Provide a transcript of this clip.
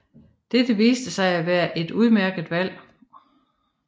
Dette viste sig at være et udmærket valg